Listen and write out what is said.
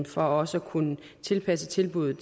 for også at kunne tilpasse tilbuddet